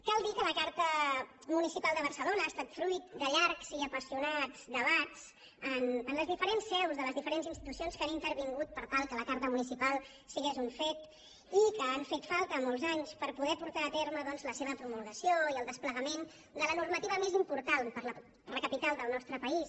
cal dir que la carta municipal de barcelona ha estat fruit de llargs i apassionats debats en les diferents seus de les diferents institucions que han intervingut per tal que la carta municipal fos un fet i que han fet falta molts anys per poder portar a terme doncs la seva promulgació i el desplegament de la normativa més important per a la capital del nostre país